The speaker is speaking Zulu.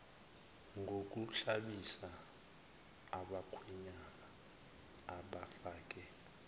ngokuhlabisa abakhwenyana abafake